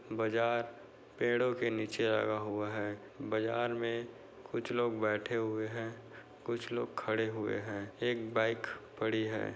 बाजार पेड़ों के नीचे लगा हुआ है। बाजार में कुछ लोग बैठे हुए हैं कुछ लोग खड़े हुए हैं। एक बाइक पड़ी है।